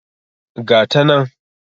Ga ta nan.